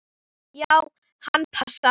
Já, hann passar.